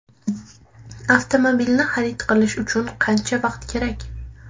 Avtomobilni xarid qilish uchun qancha vaqt kerak?